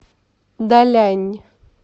далянь